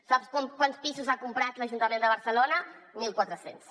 sap quants pisos ha comprat l’ajuntament de barcelona mil quatre cents